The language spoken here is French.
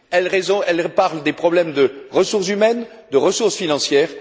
Elle traite des problèmes de ressources humaines, de ressources financières